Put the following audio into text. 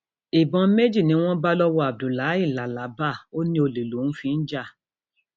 ìbọn méjì ni wọn bá lọwọ abdullahi làlábà ò ní olè lòún fi ń jà